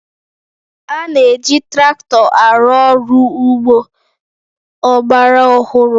A na-eji traktọ arụ ọrụ ugbo ọgbara ọhụrụ